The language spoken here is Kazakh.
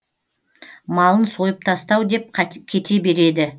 малын сойып тастау деп кете береді